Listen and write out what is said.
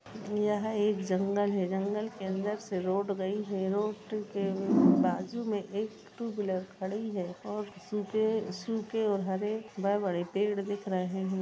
यह एक जंगल है जंगल के अंदर से रोड गई है रोड टू के बाजू मे एक टू व्हीलर खड़ी है और सूके-सूके और हरे व बड़े पेड-पेड़ दिख रहे हैं।